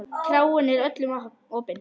Kráin er öllum opin.